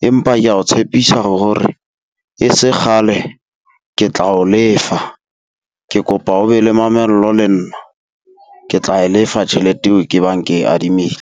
Empa kea o tshepisa hore e se kgale ke tla o lefa, ke kopa o be le mamello le nna, ke tla e lefa tjhelete eo ke bang ke e adimile.